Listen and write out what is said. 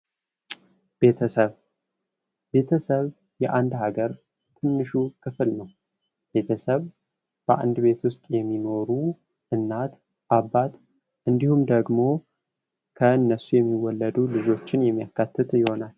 ቤተሰብ ቤተሰብ የአንድ ሃገር ትንሹ ክፍል ነው። ቤተሰብ በአንድ ቤት ዉስጥ የሚኖሩ እናት አባት እንዲሁም ደግሞ ከነሱ የሚወለዱ ሎችን የሚያካትት ይሆናል።